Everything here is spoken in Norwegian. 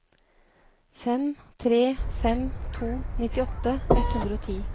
fem tre fem to nittiåtte ett hundre og ti